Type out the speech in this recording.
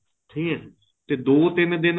ਸਹੀ ਹੈ ਤੇ ਦੋ ਤਿੰਨ ਦਿਨ